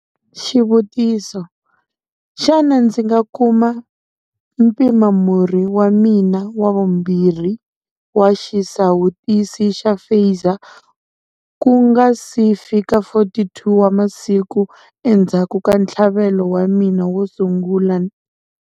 Xivutiso- Xana ndzi nga kuma mpimamurhi wa mina wa vumbirhi wa xisawutisi xa Pfizer ku nga si fika 42 wa masiku endzhaku ka ntlhavelo wa mina wo sungula?